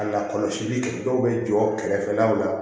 A lakɔlɔsili kɛ dɔw bɛ jɔ kɛrɛfɛ law la